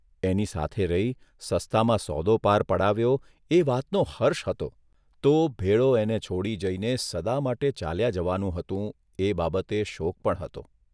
એની સાથે રહી સસ્તામાં સોદો પાર પડાવ્યો એ વાતનો હર્ષ હતો તો ભેળો એને છોડી જઇને સદા માટે ચાલ્યા જવાનું હતું એ બાબતે શોક પણ હતો.